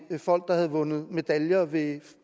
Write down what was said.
folk der havde vundet medaljer ved